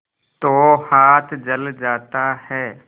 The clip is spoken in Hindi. तो हाथ जल जाता है